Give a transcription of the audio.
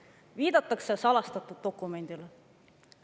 Viidatakse salastatud dokumendile.